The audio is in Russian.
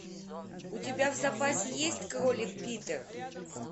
у тебя в запасе есть кролик питер